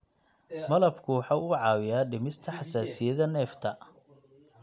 Malabku waxa uu caawiyaa dhimista xasaasiyadda neefta.